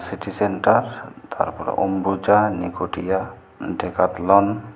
city centre তারপর Ambuja Neotia Decathlon --